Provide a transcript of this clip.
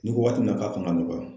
Ni waati min na k'a kan ka nɔgɔya